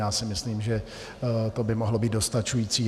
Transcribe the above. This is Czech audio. Já si myslím, že to by mohlo být dostačující.